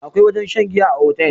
akwai wajen shan giya a otal